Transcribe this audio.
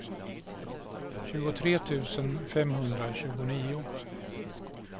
tjugotre tusen femhundratjugonio